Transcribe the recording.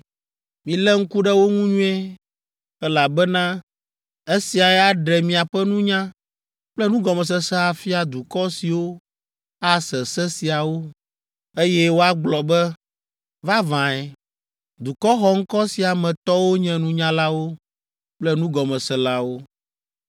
Milé ŋku ɖe wo ŋu nyuie, elabena esiae aɖe miaƒe nunya kple nugɔmesese afia dukɔ siwo ase se siawo, eye woagblɔ be, ‘Vavãe, dukɔ xɔŋkɔ sia me tɔwo nye nunyalawo kple nugɔmeselawo.’